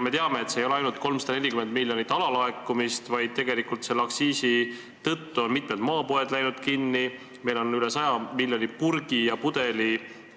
Me teame, et asi ei ole ainult 340 miljoni alalaekumises, vaid selle aktsiisi tõttu on mitmed maapoed kinni läinud, meil on üle 100 miljoni